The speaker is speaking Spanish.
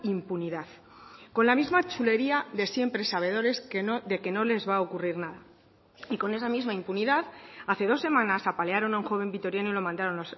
impunidad con la misma chulería de siempre sabedores de que no les va a ocurrir nada y con esa misma impunidad hace dos semanas apalearon a un joven vitoriano y lo mandaron